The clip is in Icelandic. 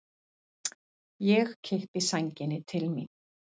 Ég kippi sænginni til mín.